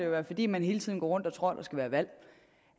være fordi man hele tiden går rundt og tror at der skal være valg